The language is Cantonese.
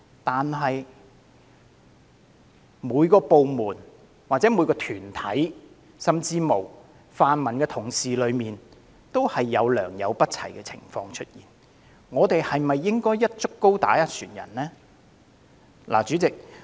然而，每個部門、團體甚或泛民同事當中，均有良莠不齊的情況，我們是否應該"一竹篙打一船人"呢？